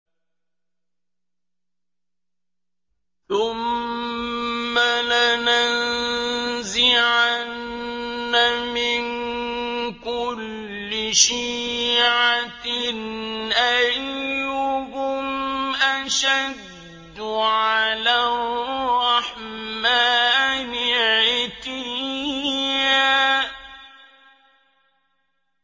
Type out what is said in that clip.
ثُمَّ لَنَنزِعَنَّ مِن كُلِّ شِيعَةٍ أَيُّهُمْ أَشَدُّ عَلَى الرَّحْمَٰنِ عِتِيًّا